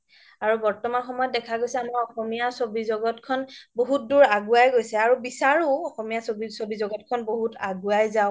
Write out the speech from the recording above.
আৰু বৰ্তমন সময়ত দেখা গৈছে অসমীয়া চবি জগতখন বহুত দুৰ আগোৱাই গৈছে আৰু বিছাৰো অসমীয়া চবি জগতখন বহুত আগোৱাই যাওক